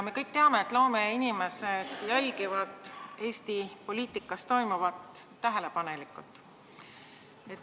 Me kõik teame, et loomeinimesed jälgivad Eesti poliitikas toimuvat tähelepanelikult.